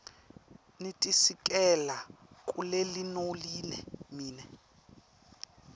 nitisikela kulelinonile mine